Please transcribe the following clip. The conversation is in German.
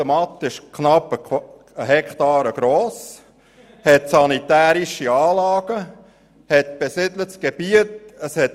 Diese ist knapp eine Hektare gross, verfügt über sanitäre Anlagen und liegt in der Nähe von besiedeltem Gebiet fahre.